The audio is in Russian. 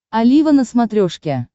олива на смотрешке